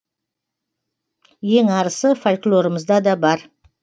ең арысы фольклорымызда да бар